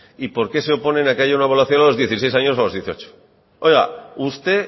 y por qué se oponen a que haya una evaluación a los dieciséis años o a los dieciocho